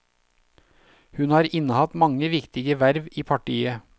Hun har innehatt mange viktige verv i partiet.